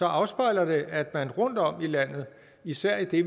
afspejler det at man rundt om i landet og især i det